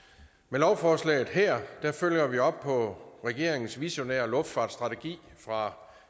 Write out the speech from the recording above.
lovforslaget her følger vi op på regeringens visionære luftfartsstrategi fra